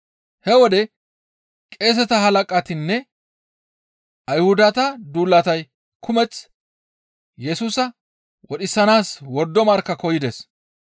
He wode qeeseta halaqatinne Ayhudata duulatay kumeth Yesusa wodhisanaas wordo markka koyides.